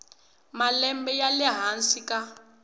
malembe ya le hansi ka